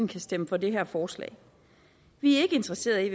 kan stemme for det her forslag vi er ikke interesserede i